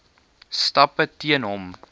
stappe teen hom